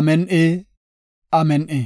Amin7i! Amin7i!